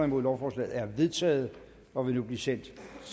nul lovforslaget er vedtaget og vil nu blive sendt